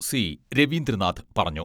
C Raveendranath പറഞ്ഞു.